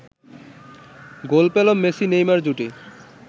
গোল পেল মেসি-নেইমার জুটি